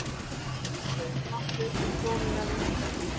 Kaupmáttur krónunnar minnkar.